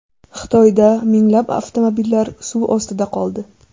Xitoyda minglab avtomobillar suv ostida qoldi.